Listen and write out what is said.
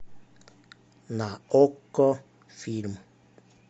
на окко фильм